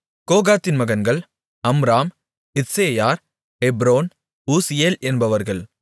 கோகாத்தின் மகன்கள் அம்ராம் இத்சேயார் எப்ரோன் ஊசியேல் என்பவர்கள்